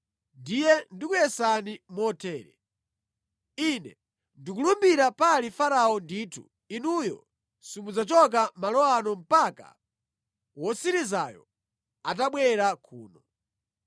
Ndiye ndikuyesani motere: Ine ndikulumbira pali Farao ndithu, inuyo simudzachoka malo ano mpaka wotsirizayo atabwera kuno.